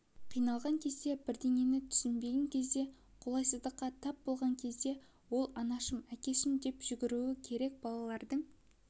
қиналған кезде бірдеңені түсінбеген кезде қолайсыздыққа тап болған кезде ол анашым әкешім деп жүгіруі керек балалардың